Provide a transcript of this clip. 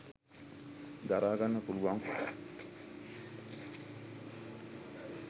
දරාගන්න පුළුවන්.